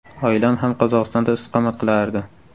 Oilam ham Qozog‘istonda istiqomat qilardi.